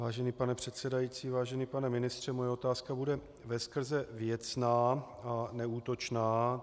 Vážený pane předsedající, vážený pane ministře, moje otázka bude veskrze věcná a neútočná.